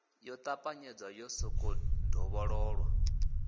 yo ṱapanyedzwa yo sokou dovhololwa